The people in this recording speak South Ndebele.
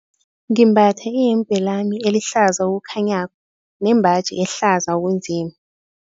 Ngimbatha iyembe lami elihlaza okukhanyako nembaji ehlaza okunzima.